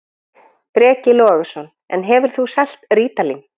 Breki Logason: En hefur þú selt rítalín?